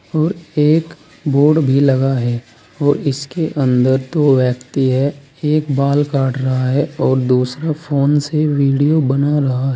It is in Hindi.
और एक बोर्ड भी लगा है और इसके अंदर दो व्यक्ति है एक बाल काट रहा है और दूसरा फोन से वीडियो बना रहा--